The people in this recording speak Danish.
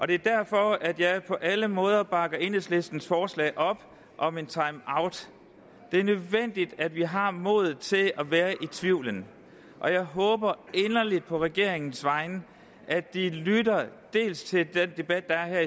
det er derfor at jeg på alle måder bakker enhedslistens forslag op om en timeout det er nødvendigt at vi har modet til at være i tvivlen og jeg håber inderligt på regeringens vegne at de lytter dels til den debat der er